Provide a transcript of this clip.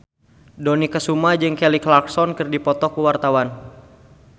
Dony Kesuma jeung Kelly Clarkson keur dipoto ku wartawan